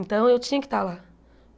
Então, eu tinha que estar lá.